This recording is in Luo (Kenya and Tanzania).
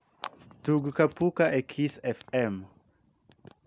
tug kapuka e kiss f.m.